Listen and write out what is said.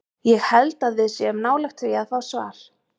Ég held að við séum nálægt því að fá svar.